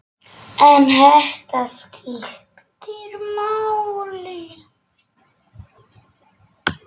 En þetta skiptir máli.